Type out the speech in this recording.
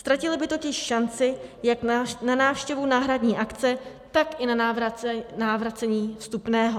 Ztratili by totiž šanci jak na návštěvu náhradní akce, tak i na navrácení vstupného.